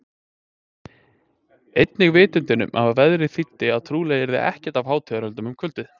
Einnig vitundin um að veðrið þýddi líka að trúlega yrði ekkert af hátíðahöldum um kvöldið.